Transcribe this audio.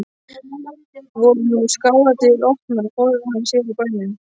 Voru nú skáladyr opnar og forðaði hann sér úr bænum.